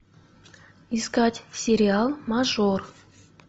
искать сериал мажор